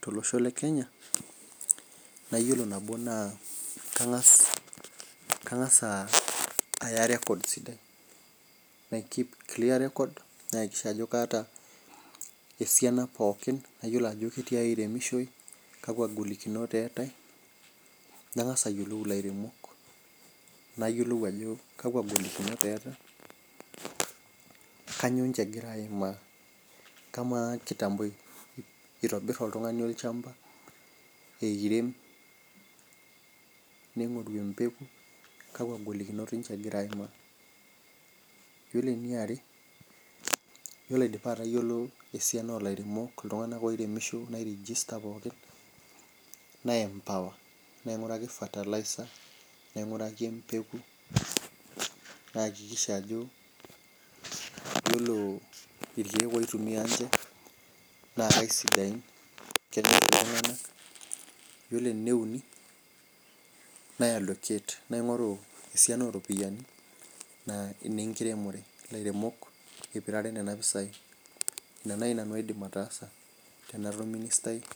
tolosho lekenya naa yiolo enedukuya naa kangas , kangas aya record sidai , napik clear records, nayakikisha ajo kaata esiana pookin nayiolo ajo ketiai iremishoi , kakwa golikinot eetae , nangas ayiolou ilairemok nayiolou ajo kakwa golikinot eeta , kanyioo ninche egira aimaa, kamaa kitambo itobir oltungani olchamba , eirem , ningoru empeku kakwa golinot ninche egira aimaa . Yiolo eneare , yiolo aidipa atayiolo esiana olairemok , iltunganak oiremisho pookin , naempower , nainguraki fertilizer , nainguraki emepeku , nayakikisha ajo yiolo irkiek oitumia nche naa aisidain . Yiolo eneuni , naiallocate, naingoru esiana oropiyiani , naa inenkiremore , ilairemok ipirare nena pisai , ina nai nanu aidim ataasa tenara orministai lenkiremore.